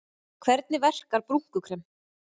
Hvernig verkar brúnkukrem?